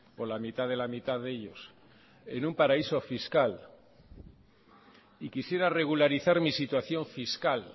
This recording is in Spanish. o la mitad de la mitad de ellos en un paraíso fiscal y quisiera regularizar mi situación fiscal